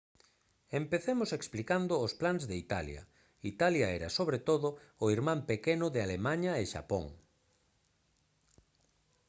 empecemos explicando os plans de italia italia era sobre todo o irmán pequeno de alemaña e xapón